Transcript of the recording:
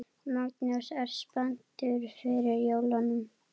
Magnús: Ertu spenntur fyrir jólunum?